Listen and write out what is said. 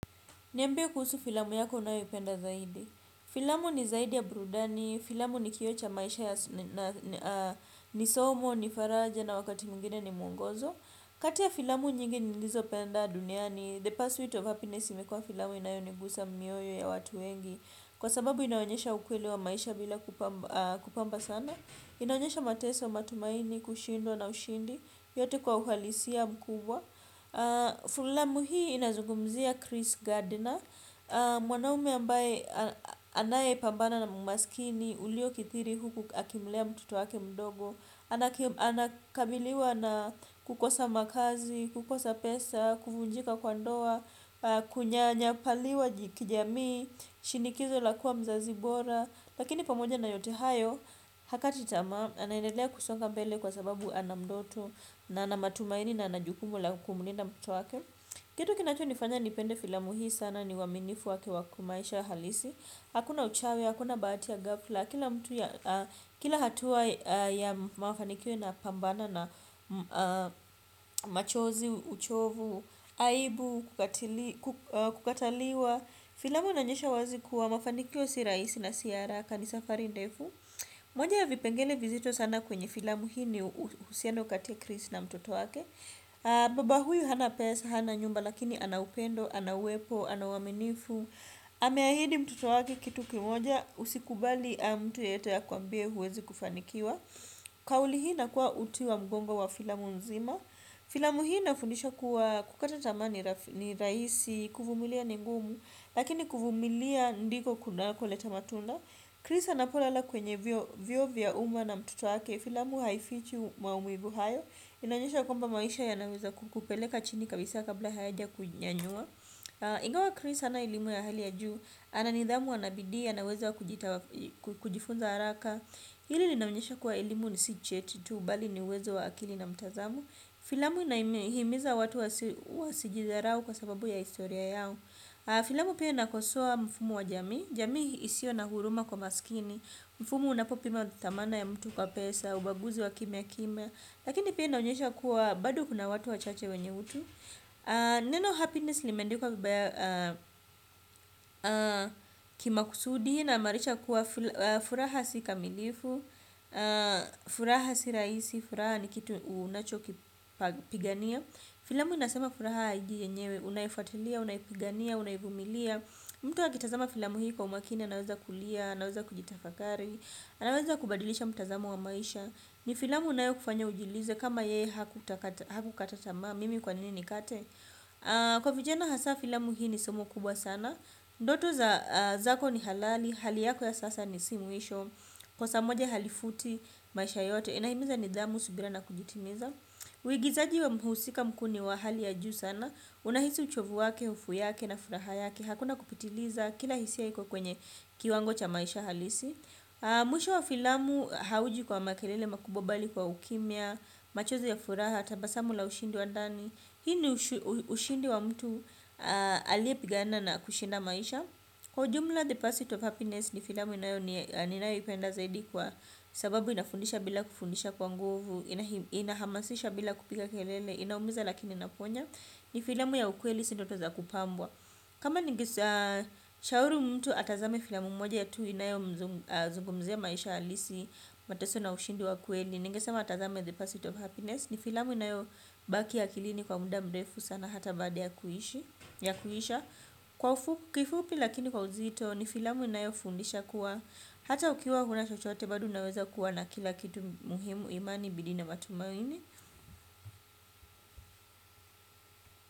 Niambie kuhusu filamu yako unayoipenda zaidi. Filamu ni zaidi ya burudani, filamu ni kioo cha maisha ya nisomo, nifaraja na wakati mwingine ni mungozo. Kati ya filamu nyingi nilizopenda duniani, the pursuit of happiness imekua filamu inayonigusa mioyo ya watu wengi. Kwa sababu inaonyesha ukweli wa maisha bila kupamba sana. Inaonyesha mateso, matumaini, kushindwa na ushindi, yote kwa uhalisia mkubwa. Filamu hii inazugumzia Chris Gardiner. Mwanaume ambaye anayepambana na umasikini uliokidhiri huku akimlea mtuto wake mdogo. Anakabiliwa na kukosa makazi, kukosa pesa, kuvunjika kwa ndoa. Kunyanyapaliwa kijamii, shinikizo lakua mzazi bora. Lakini pamoja na yote hayo. Hakati tamaa, anaedelea kusonga mbele kwa sababu anandoto na ana matumaini na ana jukumu la kumlinda mtoto wake. Kitu kinacho nifanya nipende filamu hii sana ni uaminifu wake wakimaisha halisi. Hakuna uchawi, hakuna bahati ya gafla. Kila hatua ya mafanikio inapambana na machozi, uchovu, aibu, kukataliwa. Filamu inaonyesha wazi kuwa mafanikio si rahisi na si haraka ni safari ndefu. Moja ya vipengele vizito sana kwenye filamu hii ni uhusiano kati ya Chris na mtoto wake. Baba huyu hana pesa, hana nyumba lakini anaupendo, anauwepo, anauaminifu. Ameahidi mtoto wake kitu kimoja usikubali mtu yeyote akuambie huwezi kufanikiwa. Kauli hii inakuwa uti wa mgongo wa filamu nzima. Filamu hii inafundisha kuwa kukata tamaa ni rahisi, kuvumilia ni ngumu, lakini kuvumilia ndiko kunakoleta matunda. Chris anapolala kwenye vioo vya uma na mtoto wake. Filamu haifichi maumivu hayo. Inaonyesha kwamba maisha yanaweza kukupeleka chini kabisa kabla hayaja kunyanyua. Ingawa Chris hana elimu ya hali ya juu. Ananidhamu anabidii, anaweza kujifunza haraka. Hili inaonyesha kuwa elimu si cheti tu bali ni uwezo wa akili na mtazamo. Filamu inahimiza watu wasijidharau kwa sababu ya historia yao. Filamu pia inakosoa mfumo wa jamii. Jamii isiyo na huruma kwa maskini. Mfumo unapopima dhamana ya mtu kwa pesa. Ubaguzi wa kimyakimya. Lakini pia inaonyesha kuwa bado kuna watu wachache wenye utu. Neno happiness limeandikwa vibaya. Kimakusudi inamaanisha kuwa furaha si kamilifu. Furaha si rahisi. Furaha ni kitu unachokipigania. Filamu inasema. Furaha hiji enyewe unaifuatilia, unaipigania, unaivumilia. Mtu akitazama filamu hii kwa umakini anaweza kulia, anaweza kujitafakari anaweza kubadilisha mtazamo wa maisha ni filamu unayokufanya ujiulize kama yeye hakutaka hakukata tamaa mimi kwa nini nikate kwa vijana hasaa filamu hii ni somo kubwa sana ndoto zako ni halali hali yako ya sasa si mwisho kosa moja halifuti maisha yote inahimiza nidhamu subira na kujitimiza wigizaji wa mhusika mkuu wa hali ya juu sana unahisi uchovu wake, hofu yake na furaha yake, hakuna kupitiliza kila hisia iko kwenye kiwango cha maisha halisi mwisho wa filamu hauji kwa makelele makubwa bali kwa ukimia machozi ya furaha, tabasamu la ushindi wandani hii ni ushindi wa mtu aliepigana na kushinda maisha kwa jumla the pursuit of happiness ni filamu ninayoipenda zaidi kwa sababu inafundisha bila kufundisha kwa nguvu inahamasisha bila kupiga kelele, inaumiza lakini inaponya ni filamu ya ukweli si ndoto za kupambwa kama ningeshauri mtu atazame filamu mmoja tu inayozungumzia maisha halisi mateso na ushindi wa kweli ningesema atazame the pursuit of happiness ni filamu inayobaki akilini kwa muda mrefu sana hata baada ya kuishi ya kuisha kifupi lakini kwa uzito ni filamu inayofundisha kuwa hata ukiwa huna chochote bado unaweza kuwa na kila kitu muhimu imani bidii namatumaini.